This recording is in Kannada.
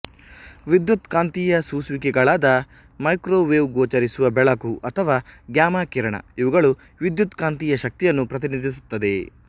ವಿದ್ಯುತ್ಕಾಂತೀಯ ಸೂಸುವಿಕೆಗಳಾದ ಮೈಕ್ರೋವೇವ್ಗೋಚರಿಸುವ ಬೆಳಕು ಅಥವಾ ಗ್ಯಾಮಾ ಕಿರಣ ಇವುಗಳು ವಿದ್ಯುತ್ಕಾಂತೀಯ ಶಕ್ತಿಯನ್ನು ಪ್ರತಿನಿಧಿಸುತ್ತದೆ